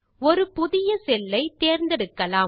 ஒரு புதிய செல் ஐ தேர்ந்தெடுக்கலாம்